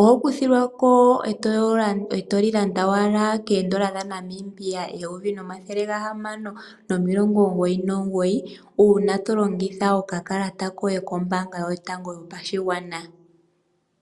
oho kuthilwako etoli landa owala koondola dha Namibia eyovi limwe omathele ga hamano nomilongo omugoyi nomugoyi, uuna to longitha okakalata koye kombaanga yotango yopashigwana.